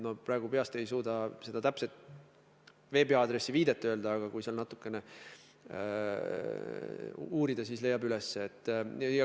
Ma praegu peast ei suuda seda täpset veebiaadressi öelda, aga kui seal natukene uurida, siis leiab üles.